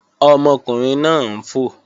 Ọmọkùnrin náà ń fò